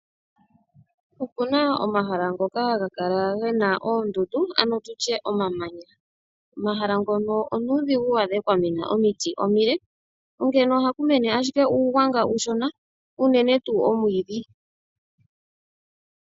Opuna omahala ngoka haga kala gena oondundu ano tutye omamanya. Omahala ngono onuudhigu waadhe kwamena omiti omile, onkene ohaku mene ashike uugwanga uushona unene tuu omwiidhi.